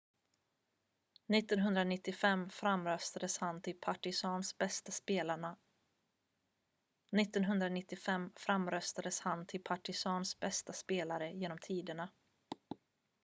1995 framröstades han till partizans bästa spelare genom tiderna